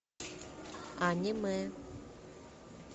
аниме